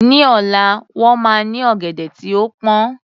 Ní ọ̀la, wọ́n máa ní ọ̀gẹ̀dẹ̀ tí ó pọn